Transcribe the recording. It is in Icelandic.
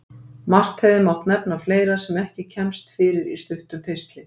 Margt hefði mátt nefna fleira sem ekki kemst fyrir í stuttum pistli.